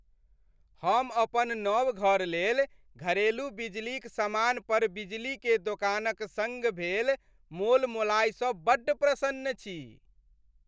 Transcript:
हम अपन नव घर लेल घरेलू बिजलीक समान पर बिजली के दोकानक सङ्ग भेल मोलमोलाइ सँ बड्ड प्रसन्न छी।